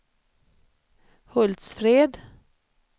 Hultsfred